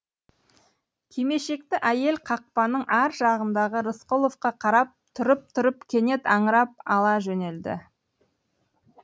кимешекті әйел қақпаның ар жағындағы рысқұловқа қарап тұрып тұрып кенет аңырап ала жөнелді